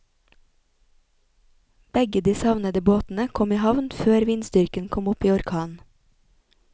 Begge de savnede båtene kom i havn før vindstyrken kom opp i orkan.